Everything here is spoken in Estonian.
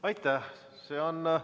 Aitäh!